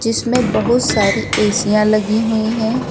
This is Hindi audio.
इसमें बहुत सारी एसीयां लगी हुई है।